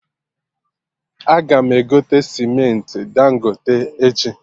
Aga m egote cementị Dangote echi